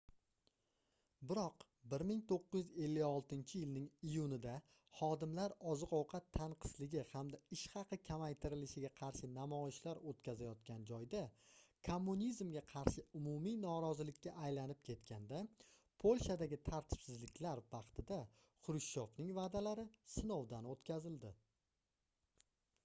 biroq 1956-yilning iyunida xodimlar oziq-ovqat tanqisligi hamda ish haqi kamaytirilishiga qarshi namoyishlar oʻtkazayotgan joyda kommunizmga qarshi umumiy norozilikka aylanib ketganda polshadagi tartibsizliklar vaqtida xrushchevning vaʼdalari sinovdan oʻtkazildi